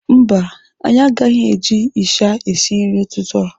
Mba anyị agaghị eji ịsha esi nri n'ụtụtụ a.